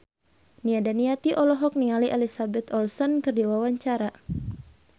Nia Daniati olohok ningali Elizabeth Olsen keur diwawancara